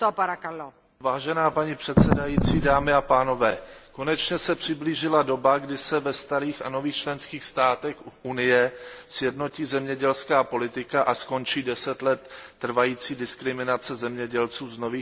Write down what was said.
Paní předsedající, konečně se přiblížila doba, kdy se ve starých a nových členských státech Unie sjednotí zemědělská politika a skončí deset let trvající diskriminace zemědělců z nových členských států.